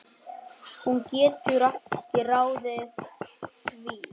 Hún getur ekki ráðið því.